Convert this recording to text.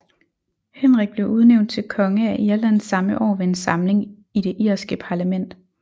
Henrik blev udnævnt til konge af Irland samme år ved en samling i det irske parlament